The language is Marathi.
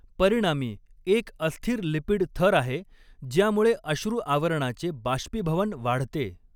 परिणामी एक अस्थिर लिपिड थर आहे ज्यामुळे अश्रू आवरणाचे बाष्पीभवन वाढते.